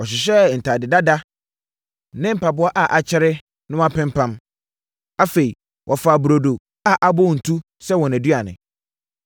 Wɔhyehyɛɛ ntadeɛ dada ne mpaboa a akyɛre na wɔapempam. Afei wɔfaa burodo a abɔ ntu sɛ wɔn aduane.